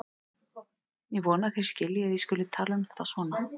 Ég vona að þið skiljið að ég skuli tala um þetta svona.